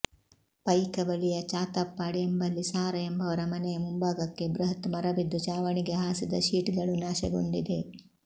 ಪೈಕ ಬಳಿಯ ಚಾತಪ್ಪಾಡಿ ಎಂಬಲ್ಲಿ ಸಾರ ಎಂಬವರ ಮನೆಯ ಮುಂಭಾಗಕ್ಕೆ ಬೃಹತ್ ಮರಬಿದ್ದು ಛಾವಣಿಗೆ ಹಾಸಿದ ಶೀಟ್ಗಳೂ ನಾಶಗೊಂಡಿ ದೆ